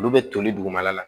Olu bɛ toli dugumala la